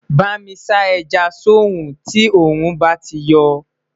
bámi sá ẹja sọ rún tí orun bá tí yo